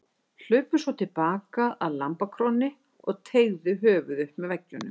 Hlupu svo til baka að lambakrónni og teygðu höfuðið upp með veggjunum.